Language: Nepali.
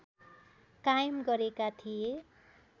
कायम गरेका थिए